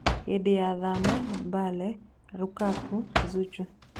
Hĩndĩ ya Thama: Mbale, Rukaku, Zuchu